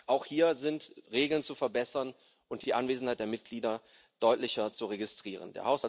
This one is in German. Auch hier sind Regeln zu verbessern und die Anwesenheit der Mitglieder deutlicher zu registrieren.